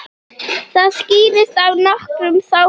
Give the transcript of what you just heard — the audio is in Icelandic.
Það skýrist af nokkrum þáttum.